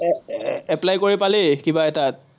আহ apply কৰি পালি, কিবা তাত?